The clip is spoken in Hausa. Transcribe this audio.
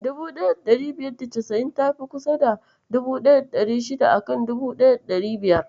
1590 tafi kusa da 1600 a kan 1500.